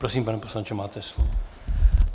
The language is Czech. Prosím, pane poslanče, máte slovo.